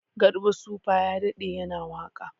Garba supa ya daɗe yana waka